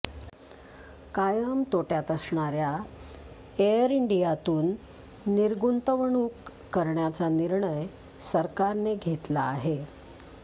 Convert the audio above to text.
कायम तोटय़ात असणार्या एअर इंडियातून निर्गुंतवणूक करण्याचा निर्णय सरकारने घेतला आहे